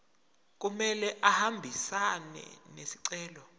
kumele ahambisane nesicelo